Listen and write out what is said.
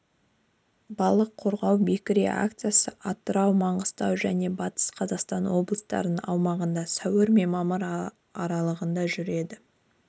балық қорғау бекіре акцисы атырау маңғыстау және батыс қазақстан облыстарының аумағында сәуір мен мамыр аралығында жүреді